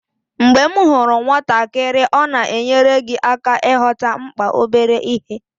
Mgbe ị hụrụ nwatakịrị, ọ na-enyere gị aka ịghọta mkpa obere ihe.